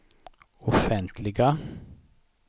offentliga